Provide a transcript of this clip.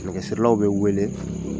Nɛgɛ sirilaw bɛ wele